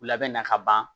U labɛnna ka ban